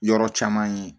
Yɔrɔ caman ye